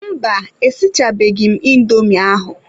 Mba, esichabeghị m indomi ahụ.